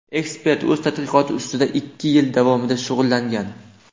Ekspert o‘z tadqiqoti ustida ikki yil davomida shug‘ullangan.